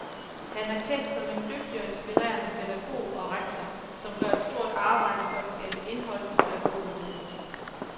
Han er kendt som en dygtig og inspirerende pædagog og rektor, som gør et stort arbejde for at skabe indhold i pædagoguddannelsen.